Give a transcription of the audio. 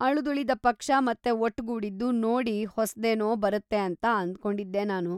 ಅಳಿದುಳಿದ ಪಕ್ಷ ಮತ್ತೆ ಒಟ್ಟುಗೂಡಿದ್ದು ನೋಡಿ ಹೊಸ್ದೇನೋ‌ ಬರತ್ತೆ ಅಂತ ಅಂದ್ಕೊಂಡಿದ್ದೆ‌ ನಾನು.‌..